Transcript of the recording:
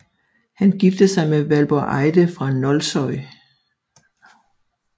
Han giftede sig med Valborg Eide fra Nólsoy